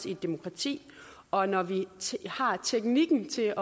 i et demokrati og når vi har teknikken til